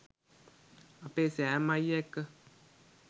අපේ සෑම් අයිය එක්ක.